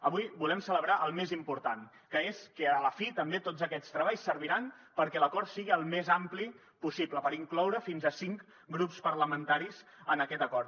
avui volem celebrar el més important que és que a la fi també tots aquests treballs serviran perquè l’acord sigui el més ampli possible per incloure fins a cinc grups parlamentaris en aquest acord